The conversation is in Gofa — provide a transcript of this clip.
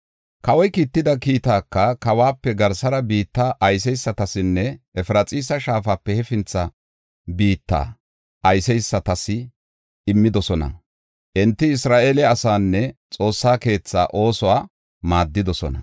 Kawoy kiitida kiittaka kawuwape garsara biitta ayseysatasinne Efraxiisa Shaafape hefintha biitta ayseysatas immidosona; enti Isra7eele asaanne Xoossa keethaa oosuwa maaddidosona.